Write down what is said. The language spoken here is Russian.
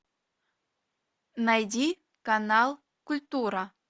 найди канал культура